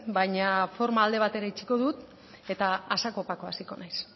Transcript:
baina forma alde batera utziko dut eta a saco paco hasiko naiz